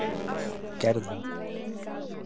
Gerðum